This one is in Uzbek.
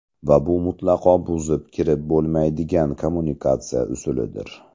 Va bu mutlaqo buzib kirib bo‘lmaydigan kommunikatsiya usulidir.